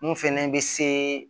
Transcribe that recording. Mun fɛnɛ bɛ se